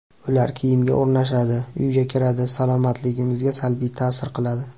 Ular kiyimga o‘rnashadi, uyga kiradi, salomatligimizga salbiy ta’sir qiladi.